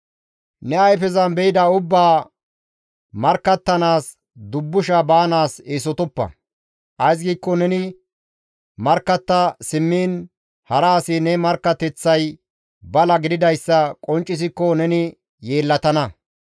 Ne ayfezan be7ida ubbaa markkattanaas dubbusha baanaas eesotoppa; ays giikko neni markkatta simmiin, hara asi ne markkateththay bala gididayssa qonccisikko neni yeellatana.